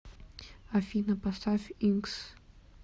афина поставь инкс